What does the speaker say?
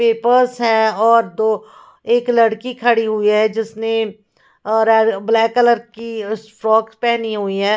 Papers है और दो एक लड़की खड़ी हुई है जिसने अ रा ब्लैक कलर की फ्रॉक पहनी हुई है ।